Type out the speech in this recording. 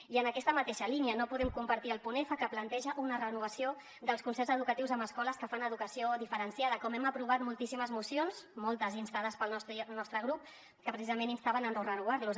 i en aquesta mateixa línia no podem compartir el punt f que planteja una renovació dels concerts educatius amb escoles que fan educació diferenciada com hem aprovat moltíssimes mocions moltes instades pel nostre grup que precisament instaven a no renovarlos